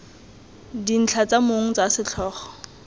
dintlha tsa mong tsa setlhogo